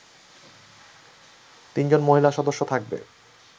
তিনজন মহিলা সদস্য থাকবে